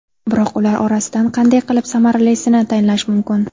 Biroq ular orasidan qanday qilib samaralisini tanlash mumkin?